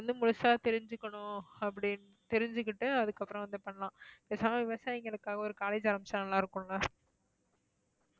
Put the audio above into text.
வந்து முழுசா தெரிஞ்சுக்கணும் அப்படின்னு தெரிஞ்சுகிட்டு அதுக்கப்புறம் இது பண்ணலாம். பேசாம விவசாயிங்களுக்காக ஒரு college ஆரம்பிச்சா நல்லா இருக்கும்ல?